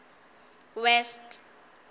west